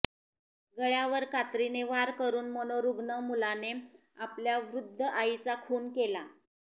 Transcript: गळ्यावर कात्रीने वार करून मनोरुग्ण मुलाने आपल्या वृद्ध आईचा खून केला